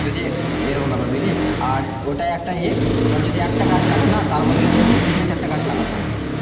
যদি এরকম ব্যাপার বুঝলি আর ওটা একটা ইয়ে ধর যদি একটা গাছ কাটে না তার বদলে বলছে তিন থেকে চারটা গাছ লাগাতে হবে